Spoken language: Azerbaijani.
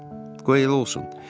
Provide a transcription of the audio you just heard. Qoy elə olsun.